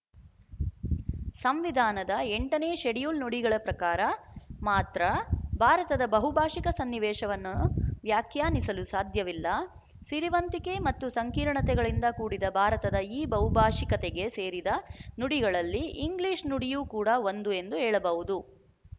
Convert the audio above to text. ಸಂವಿಧಾನದ ಎಂಟ ನೇ ಷೆಡ್ಯೂಲ್ ನುಡಿಗಳ ಪ್ರಕಾರ ಮಾತ್ರ ಭಾರತದ ಬಹುಭಾಶಿಕ ಸನ್ನಿವೇಶವನ್ನು ವ್ಯಾಖ್ಯಾನಿಸಲು ಸಾಧ್ಯವಿಲ್ಲ ಸಿರಿವಂತಿಕೆ ಮತ್ತು ಸಂಕೀರ್ಣತೆಗಳಿಂದ ಕೂಡಿದ ಭಾರತದ ಈ ಬಹುಭಾಶಿಕತೆಗೆ ಸೇರಿದ ನುಡಿಗಳಲ್ಲಿ ಇಂಗ್ಲಿಶು ನುಡಿಯು ಕೂಡ ಒಂದು ಎಂದು ಹೇಳಬಹುದು